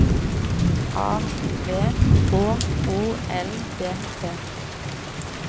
A V H O L D T